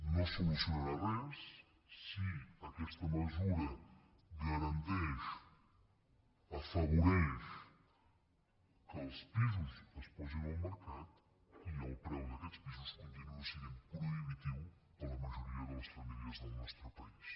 no es solucionarà res si aquesta mesura garanteix afavoreix que els pisos es posin al mercat i el preu d’aquests pisos continuï sent prohibitiu per a la majoria de les famílies del nostre país